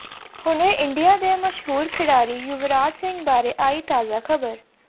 ਹੁਣੇ ਇੰਡੀਆ ਦੇ ਮਸ਼ਹੂਰ ਖਿਡਾਰੀ ਯੁਵਰਾਜ ਸਿੰਘ ਬਾਰੇ ਆਈ ਤਾਜਾ ਖਬਰ